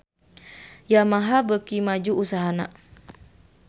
Yamaha beuki maju usahana